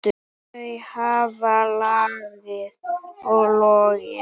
Þau hafa logið og logið.